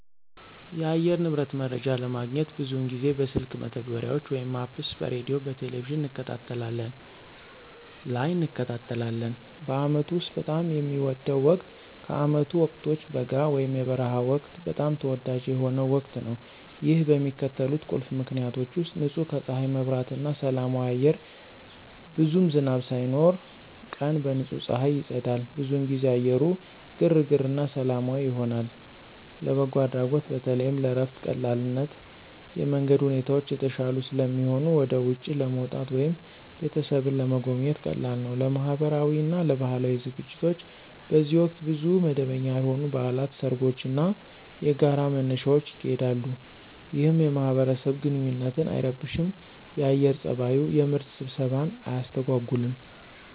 የአየር ንብረት መረጃ ለማግኘት ብዙውን ጊዜ በስልክ መተግበሪያዎች (Apps) በሬዲዮ፣ በቴሊቪዥን እንከታተላለን ላይ እንከታተላለን። በአመቱ ውስጥ በጣም የሚወደው ወቅት ከዓመቱ ወቅቶች በጋ (የበረሃ ወቅት) በጣም ተወዳጅ የሆነው ወቅት ነው። ይህ በሚከተሉት ቁልፍ ምክንያቶች ውሰጥ · ንጹህ ከፀሐይ መብራት እና ሰላማዊ አየር ብዙም ዝናብ ሳይኖር፣ ቀን በንጹህ ፀሐይ ይጸዳል። ብዙውን ጊዜ አየሩ ግርግር እና ሰላማዊ ይሆናል። · ለበጎ አድራጎት በተለይም ለእረፍት ቀላልነት የመንገድ ሁኔታዎች የተሻሉ ስለሚሆኑ ወደ ውጪ ለመውጣት ወይም ቤተሰብን ለመጎብኘት ቀላል ነው። · ለማህበራዊ እና ለባህላዊ ዝግጅቶች በዚህ ወቅት ብዙ መደበኛ ያልሆኑ በዓላት፣ ሰርጎች እና የጋራ መነሻዎች ይካሄዳሉ፣ ይህም የማህበረሰብ ግንኙነትን አይረብሽም የአየር ፀባዩ። የምርት ስብሰባን አያስተጎጉልም።